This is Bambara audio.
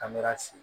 An bɛ si